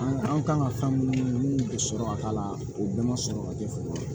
An an kan ka fɛn minnu bɛ sɔrɔ ka k'a la o bɛɛ ma sɔrɔ ka kɛ fɔlɔ